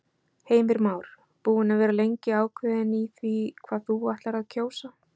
Heimir Már: Búin að vera lengi ákveðin í því hvað þú ætlar að kjósa?